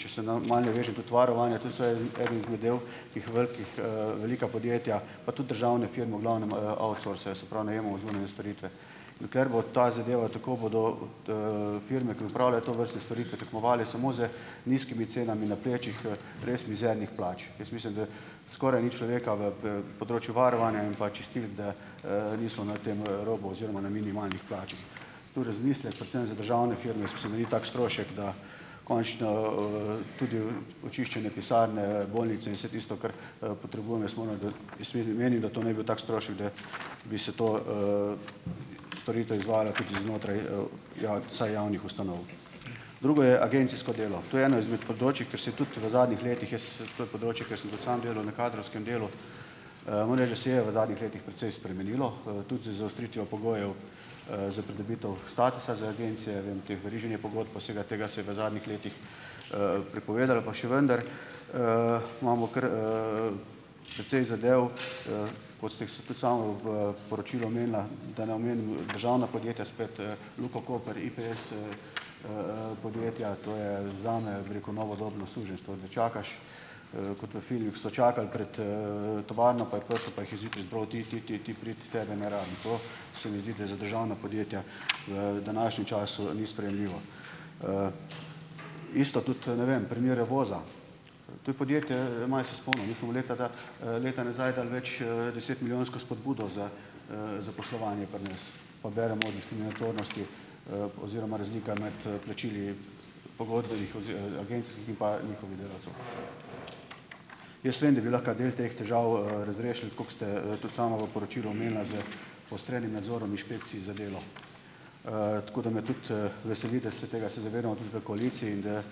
če se malo navežem, tudi varovanja, to so eden izmed del teh velikih, velika podjetja, pa tudi državne firme v glavnem, outsourcajo, se pravi, najemamo zunanje storitve. Dokler bo ta zadeva, tako bodo, firme, ki opravljajo tovrstne storitve, tekmovale samo z nizkimi cenami na plečih, res mizernih plač. Jaz mislim, da skoraj ni človeka v področju varovanja in pa čistilk, da, niso na tem, robu oziroma na minimalnih plačah. Tu razmislek predvsem za državne firme. Jaz mislim, da ni tako strošek, da končno, tudi očiščene pisarne, bolnice in vse tisto, kar potrebujemo. Jaz moram dodati ... Jaz vidi menim, da to ne bi bil tak strošek, da bi se ta, storitev izvajala tudi znotraj, vsaj javnih ustanov. Drugo je agencijsko delo. To je eno izmed področij, kjer se je tudi v zadnjih letih, jaz, to je področje, kjer sem tudi sam delal na kadrovskem delu. Morem reči, da se je v zadnjih letih precej spremenilo, tudi z zaostritvijo pogojev, za pridobitev statusa za agencije, veriženja pogodb pa vsega tega se je v zadnjih letih, prepovedalo, pa še vendar, imamo kar, precej zadev, kot ste jih tudi sama v, poročilu omenila, da ne državna podjetja spet, Luka Koper, IPS, podjetja, to je zame, bi rekel, novodobno suženjstvo, da čakaš, kot v filmih so čakali pred, tovarno, pa je prišel pa jih je zjutraj izbral, ti, ti, ti pridi, tebe ne rabim. To se mi zdi, da je za državna podjetja v današnjem času ni sprejemljivo. Isto tudi, ne vem, primer Revoza. To je podjetje, malo se spomnim, mi smo leta leta nazaj dali več, desetmilijonsko spodbudo za, zaposlovanje pri nas, pa beremo diskriminatornosti, oziroma razlika med, plačili pogodbenih agencijskih in pa njihovih delavcev. Jaz vem, da bi lahko del teh težav, razrešili, koliko ste, tudi sama v poročilu omenila s poostrenim nadzorom inšpekcij za delo. Tako, da me tudi, veseli, tega se tega se zavedamo tudi v koaliciji in da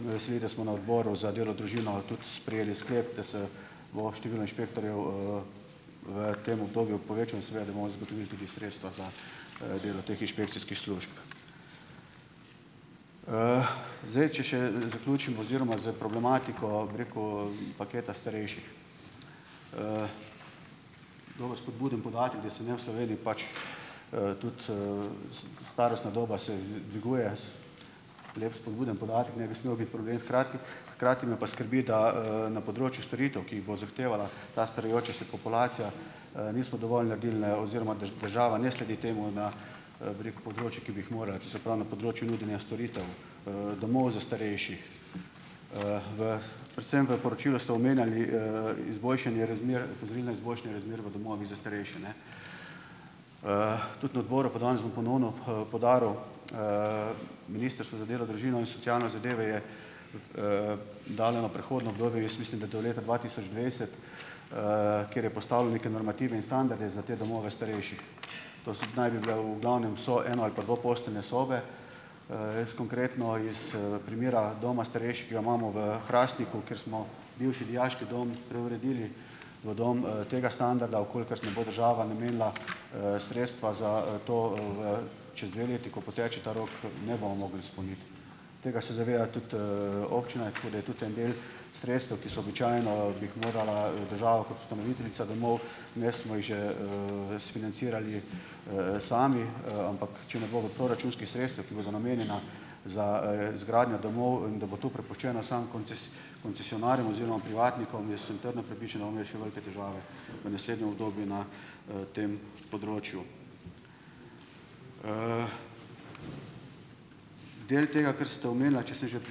me veseli, da smo na odboru za delo, družino tudi sprejeli sklep, da se bo število inšpektorjev, v tem obdobju povečalo in seveda da bomo zagotovili tudi sredstva za, delo teh inšpekcijskih služb. Zdaj, če še, zaključim oziroma s problematiko, bi rekel, paketa starejših. Dobro, spodbuden podatek, da se ne v Sloveniji pač, tudi, starostna doba se dviguje s, lep spodbuden podatek, ne bi smel biti problem, skrati hkrati me pa skrbi, da, na področju storitev, ki jih bo zahtevala ta starajoča se populacija, nismo dovolj naredili, ne, oziroma država ne sledi temu na, bi rekel področjih, ki bi jih morali, to se pravi, na področju nudenja storitev, domov za starejših. V predvsem v poročilu ste omenjali, izboljšanje razmer, opozorili na izboljšanja razmer v domovih za starejše, ne. Tudi na odboru, pa danes bom ponovno, poudaril, ministrstvo za delo, družino in socialne zadeve je, dano prehodno obdobje, jaz mislim, da do leta dva tisoč dvajset, kjer je postavilo neke normative in standarde za te domove starejših. To so naj bi bile v glavnem so eno- ali pa dvoposteljne sobe. Jaz konkretno iz primera doma starejših, ki ga imamo v Hrastniku, kjer smo bivši dijaški dom preuredili v dom, tega standarda, v kolikor nas bo država namenila, sredstva za, to v, čez dve leti, ko poteče ta rok, ne bomo mogli izpolniti. Tega se zaveda tudi, občina, tako da je tudi en del sredstev, ki so običajno, bi jih morala država kot ustanoviteljica domov, imeli smo jih že, sfinancirali, sami, ampak če ne bo v proračunskih sredstev, ki bodo namenjena za, izgradnjo domov, in da bo to prepuščeno samo koncesionarjem oziroma privatnikom, jaz sem trdno prepričan, da bomo imeli še velike težave v naslednjem obdobju na, tem področju. Del tega, kar ste omenila, če sem že pri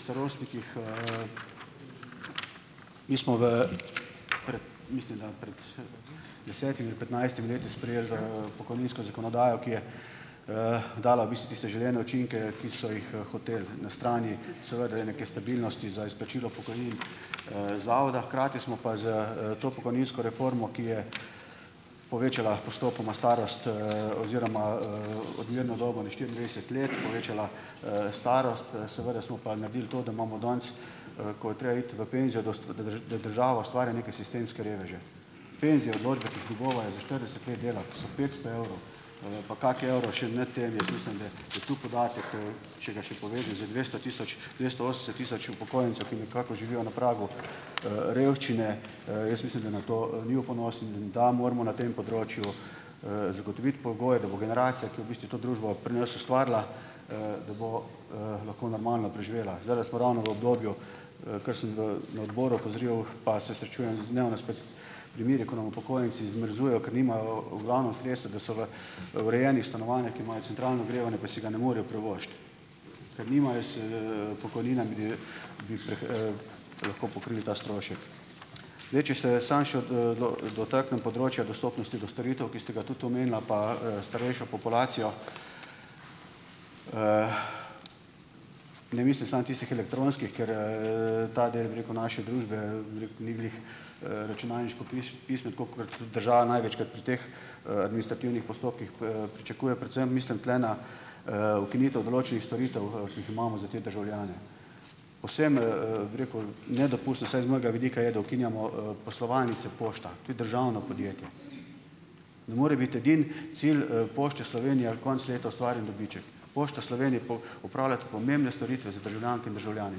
starostnikih. Mi smo v pred, mislim da, pred, desetimi, petnajstimi leti sprejeli, pokojninsko zakonodajo, ki je, dala v bistvu tiste želene učinke, ki so jih, hoteli na strani, seveda neke stabilnosti za izplačilo pokojnin, zavoda, hkrati smo pa s to pokojninsko reformo, ki je povečala postopoma starost, oziroma, odmerno dobo na štiriindvajset let, povečala, starost, seveda smo pa naredili to, da imamo danes, ko je treba iti v penzijo, da država ustvari neke sistemske reveže. Penzijo, odločbe, nerazumljivo je za štirideset let dela, to so petsto evrov, pa ne pa kak evro še nad tem in jaz mislim, da je to podatek, če ga še povem, za dvesto tisoč dvesto osemdeset tisoč upokojencev, ki nekako živijo na pragu, revščine, jaz mislim da nam to, ni v ponos in da moramo na tem področju, zagotoviti pogoje, da bo generacija, ki je v bistvu to družbo pri nas ustvarila, da bo, lahko normalno preživela. Zdajle smo ravno v obdobju, kar sem v na odboru opozoril, pa se srečujem z dnevno s pač s primeri ko nam upokojenci zmrzujejo, ker nimajo v glavnem sredstev, da so v urejenih stanovanjih, ki imajo centralno ogrevanje, pa si ga ne morejo privoščiti, ker nimajo pokojnine, da bi bi lahko pokrili ta strošek. Zdaj, če se samo še dotaknem področja dostopnosti do storitev, ki ste ga tudi omenila, pa, starejšo populacijo. Ne mislim samo tistih elektronskih, ker, ta del, bi rekel, naše družbe, bi rekel, ni glih, računalniško pismen, tako kot država največkrat pri teh, administrativnih postopkih pričakuje, predvsem mislim tule na, ukinitev določenih storitev, ki jih imamo za te državljane. Povsem, bi rekel, nedopustno vsaj z mojega vidika je, da ukinjamo, poslovalnice pošta, to je državno podjetje. Ne more biti edini cilj, Pošte Slovenije konec leta ustvarjen dobiček. Pošta Slovenije pol opravlja tudi pomembne storitve za državljanke in državljane.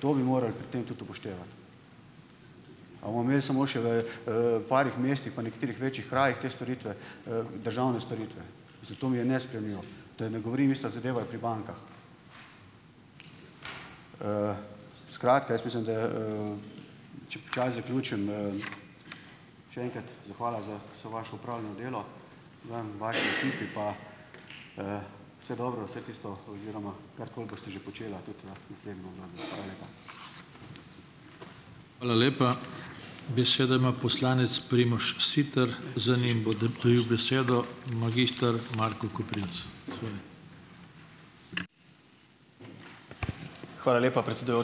To bi morali pri tem tudi upoštevati. A bomo imeli samo še v, parih mestih, pa nekaterih večjih krajih te storitve, državne storitve. Zato mi je nesprejemljivo. Da ne govorim, ista zadeva je pri bankah. Skratka, jaz mislim da, če počasi zaključim, še enkrat zahvala za vse vaše opravljeno delo. Vam, vaši ekipi pa, vse dobro, vse tisto oziroma karkoli boste že počela tudi v naslednjem obdobju. Hvala lepa.